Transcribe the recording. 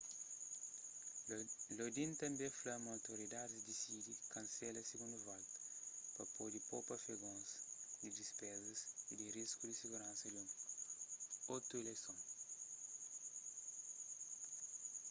lodin tanbê fla ma otoridadis disidi kansela sigundu volta pa pode popa afegons di dispezas y di risku di siguransa di un otu ileison